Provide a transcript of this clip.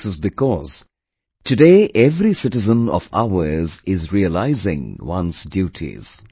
This is because, today every citizen of ours is realising one's duties